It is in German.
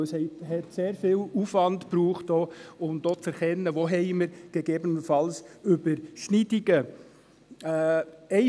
Denn es bedeutete einen sehr grossen Aufwand, auch zu erkennen, wo es gegebenenfalls Überschneidungen gibt.